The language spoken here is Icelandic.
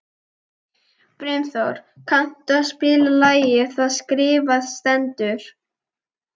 Brimþór, kanntu að spila lagið „Það skrifað stendur“?